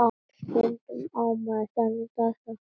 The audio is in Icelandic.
Stundum á maður þannig daga.